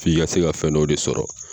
F'i ka se ka fɛn dɔw de sɔrɔ.